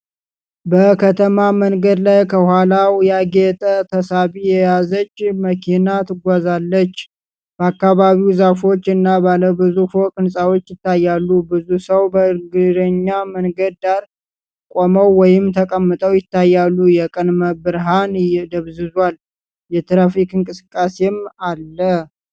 በከተማ መንገድ ላይ ከኋላው ያጌጠ ተሳቢ የያዘች መኪና ትጓዛለች። በአካባቢው ዛፎች እና ባለ ብዙ ፎቅ ሕንፃዎች ይታያሉ። ብዙ ሰዎች በእግረኛ መንገድ ዳር ቆመው ወይም ተቀምጠው ይታያሉ። የቀን ብርሃን ደብዝዟል፣ የትራፊክ እንቅስቃሴም አለ።